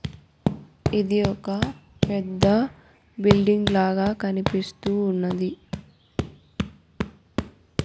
ఇది ఒక పెద్ద బిల్డింగ్ లాగా కనిపిస్తూ ఉన్నది.